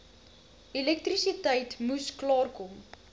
elektrisiteit moes klaarkom